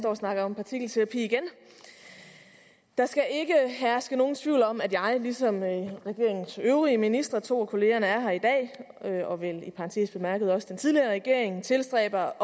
og snakker om partikelterapi igen der skal ikke herske nogen tvivl om at jeg ligesom regeringens øvrige ministre to af kollegaerne er her i dag og vel i parentes bemærket også den tidligere regering tilstræber